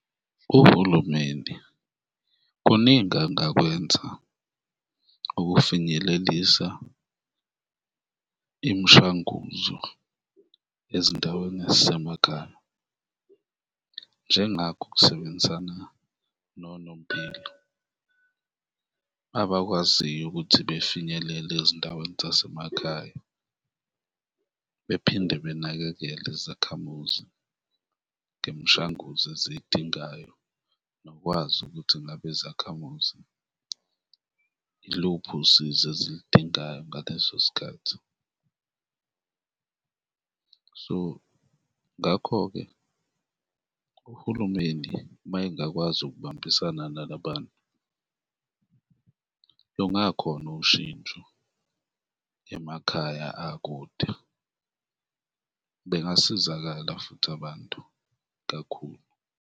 Uhulumende kuningi angakwenza ukufinyelelisa imishanguzo ezindaweni ezisemakhaya, njengakho ukusebenzisana nonompilo, abakwaziyo ukuthi befinyelele ezindaweni zasemakhaya bephinde benakekele izakhamuzi ngemishanguzo eziyidingayo nokwazi ukuthi ngabe izakhamuzi iluphi usizo ezilidingayo ngaleso sikhathi. So ngakho-ke uhulumeni mayengakwazi ukubambisana nalabantu, lungakhona ushintsho emakhaya akude, bengasizakala futhi abantu kakhulu.